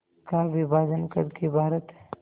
का विभाजन कर के भारत